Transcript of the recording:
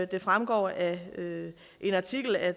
det fremgår af en artikel at